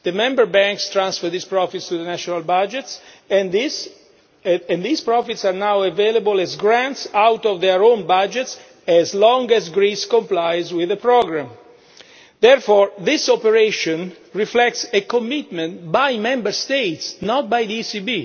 The member banks transferred these profits to the national budgets, and these profits are now available as grants out of their own budgets as long as Greece complies with the programme. Therefore this operation reflects a commitment by Member States, not by the ECB.